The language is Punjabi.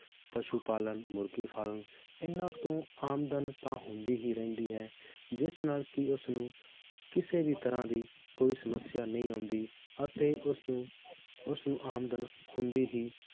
ਪਸ਼ੂ ਪਾਲਣ, ਮੁਰਗੀ farm ਇਹਨਾਂ ਤੋਂ ਆਮਦਨ ਤਾਂ ਹੁੰਦੀ ਹੀ ਰਹਿੰਦੀ ਹੈ ਜਿਸ ਨਾਲ ਕੀ ਉਸ ਨੂੰ ਕਿਸੇ ਵੀ ਤਰਾਹ ਦੀ ਕੋਈ ਸਮਸਿਆ ਨਹੀਂ ਆਉਂਦੀ ਅਤੇ ਉਸ ਨੂੰ ਉਸਨੂੰ ਆਮਦਨ ਹੁੰਦੀ ਹੀ